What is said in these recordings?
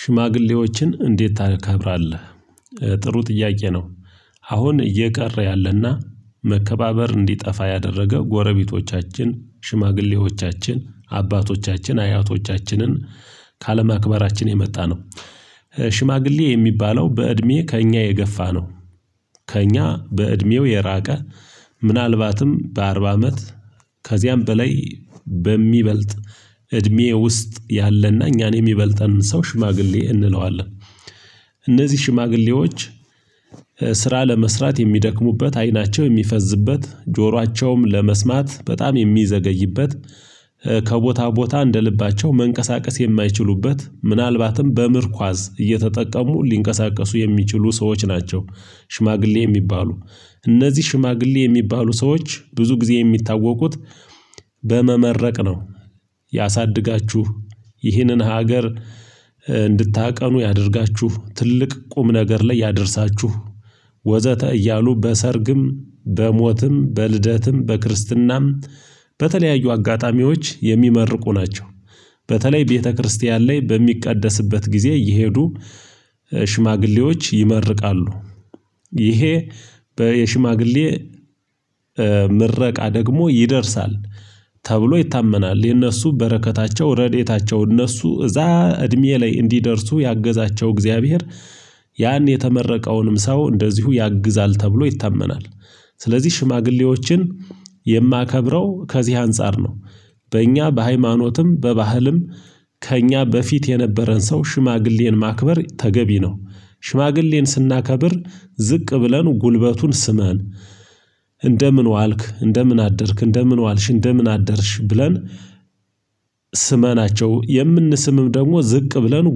ሽማግሌዎችን እንዴት ታከብራለህ? ጥሩ ጥያቄ ነው። አሁን እየቀረ ያለና መከባበር እንዲጠፋ ያደረገ ጎረቤቶቻችን ሽማግሌዎቻችን አባቶቻችን አያቶቻችንን ከአለማክበራችን የመጣ ነው። ሽማግሌ የሚባለው በእድሜ ከእኛ የገፋ ነው። ከእኛ በእድሜው የራቀ ምናልባትም በአርባ አመት ከዚያም በላይ በሚበልጥ እድሜ ውስጥ ያለና እኛን የሚበልጠንን ሰው ሽማግሌ እንለዋለን። እነዚህ ሽማግሌዎች ስራ ለመስራት የሚደክሙበት አይናቸው የሚፈዝበት ጆሯቸውም ለመስማት በጣም የሚዘገይበት ከቦታ ቦታ እንደ ልባቸው መንቀሳቀስ የማይችሉበት ምናልባትም በምርኳዝ እየተጠቀሙ ሊንቀሳቀሱ የሚችሉ ሰዎች ናቸው። ሽማግሌ የሚባሉ እነዚህ ሽማግሌ የሚባሉ ሰዎች ብዙ ጊዜ የሚታወቁት በመመረቅ ነው። ያሳድጋችሁ ይህንን ሀገር እንድታቀኑ ያደርጋችሁ ትልቅ ቁም ነገር ላይ ያደርሳችሁ ወዘተ እያሉ በሰርግም በሞትም በልደትም በክርስትናም በተለያዩ አጋጣሚዎች የሚመርቁ ናቸው። በተለይ ቤተክርስቲያን ላይ በሚቀደስበት ጊዜ እየሄዱ ሽማግሌዎች ይመርቃሉ። ይሄ በሽማግሌ ምረቃ ደግሞ ይደርሳል ተብሎ ይታመናል የእነሱ በረከታቸው ረድኤታቸው እነሱ እዛ እድሜ ላይ እንዲደርሱ ያገዛቸው እግዚአብሔር ያን የተመረቀውንም ሰው እንደዚሁ ያግዛል ተብሎ ይታመናል። ስለዚህ ሽማግሌዎችን የማከብረው ከዚህ አንፃር ነው በእኛ በሃይማኖትም በባህልም ከእኛ በፊት የነበረን ሰው ሽማግሌን ማክበር ተገቢ ነው። ሽማግሌን ስናከብር ዝቅ ብለን ጉልበቱን ስመን እንደምን ዋልክ እንደምን አደርክ እንደምን ዋልሽ እንደምን አደርሽ ብለን ስመናቸው የምንስምም ደግሞ ዝቅ ብለን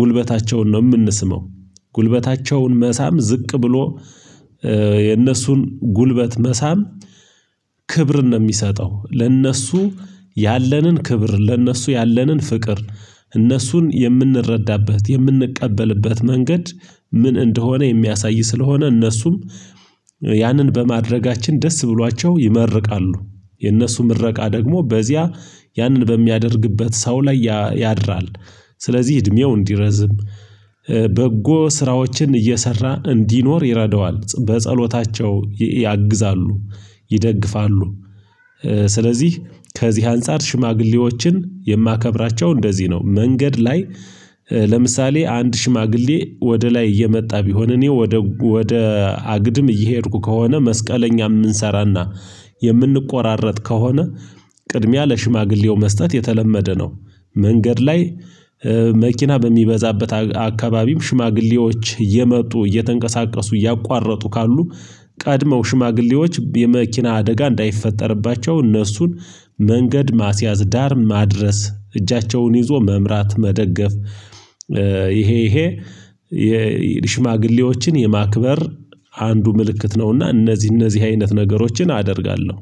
ጉልበታቸውን ነው የምንሰመው። ጉልበታቸውን መሳም ዝቅ ብሎ የነሱን ጉልበት መሳም ክብርን ነው የሚሰጠው ለእነሱ ያለንን ክብር ለእነሱ ያለንን ፍቅር እነሱን የምንረዳበት የምንቀበልበት መንገድ ምን እንደሆነ የሚያሳይ ስለሆነ እነሱም ያንን በማድረጋችን ደስ ብሏቸው ይመርቃሉ። የእነሱ ምረቃ ደግሞ በዚያ ያንን በሚያደርግበት ሰው ላይ ያድራል ስለዚህ እድሜው እንዲረዝም በጎ ስራዎችን እየሰራ እንዲኖር ይረዳዋል በጸሎታቸው ያግዛሉ ይደግፋሉ። ስለዚህ ከዚህ አንፃር ሽማግሌዎችን የማከብራቸው እንደዚህ ነው መንገድ ላይ። ለምሳሌ አንድ ሽማግሌ ወደ ላይ እየመጣ ቢሆን እኔ ወደ ወደ አግድም እየሄድኩ ከሆነ መስቀለኛ የምንሰራና የምንቆራረጥ ከሆነ ቅድሚያ ለሽማግሌው መስጠት የተለመደ ነው። መንገድ ላይ መኪና በሚበዛበት አካባቢም ሽማግሌዎች እየመጡ እየተንቀሳቀሱ እያቋረጡ ካሉ ቀድመው ሽማግሌዎች የመኪና አደጋ እንዳይፈጠርባቸው እነሱን መንገድ ማስያዝ ዳር ማድረስ እጃቸውን ይዞ መምራት መደገፍ። ይሄ ይሄ የሽማግሌዎችን የማክበር አንዱ ምልክት ነውና እነዚህ እነዚህ አይነት ነገሮችን አደርጋለሁ